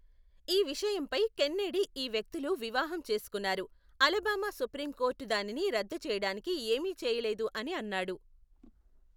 ఈ విషయంపై కెన్నెడీ ఈ వ్యక్తులు వివాహం చేసుకున్నారు, అలబామా సుప్రీం కోర్ట్ దానిని రద్దు చేయడానికి ఏమీ చేయలేదు అని అన్నాడు, .